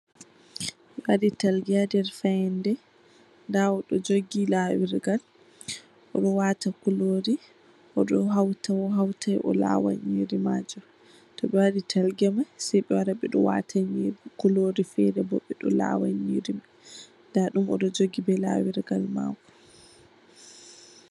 Ɓe waɗi talge ha ndir fayande, nda odo jugi lawirgal, oɗo wata kururi, oɗo hauta o hautai o lawa nyiri majum. Toɓewadi talge mai Sai ɓewara ɓeɗo wata kururi fere ɓeɗo lawa nyiri nda dum ɗo, oɗo jugi be lawirgal mako.